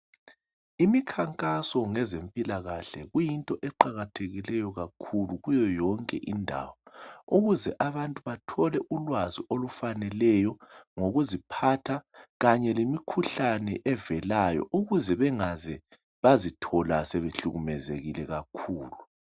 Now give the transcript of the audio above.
Imikhankaso ngezempilakahle kuyinto eqakathekileyo kakhulu kuyoyonke indawo ukuze abantu bathole ulwazi olufaneleyo ngokuziphatha kanye lemikhuhlane evelayo ukuze bengaze bazithola sebehlukumezekile kakhulu.